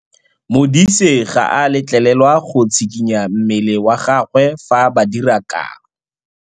Modise ga a letlelelwa go tshikinya mmele wa gagwe fa ba dira karô.